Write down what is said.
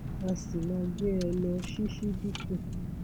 a sì máa gbé e lọ ṣíṣíbítù